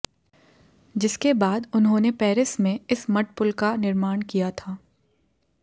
जिसके बाद उन्होंने पेरिस में इस मड पुल का निर्माण क्या था